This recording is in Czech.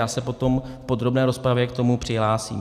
Já se potom v podrobné rozpravě k tomu přihlásím.